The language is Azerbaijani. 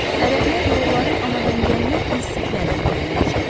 Ərəblər yolları anadangəlmə instiktləri ilə müəyyənləşdirirlər.